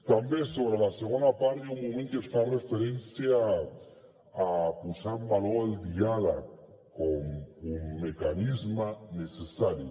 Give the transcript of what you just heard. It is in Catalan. també sobre la segona part hi ha un moment que es fa referència a posar en valor el diàleg com un mecanisme necessari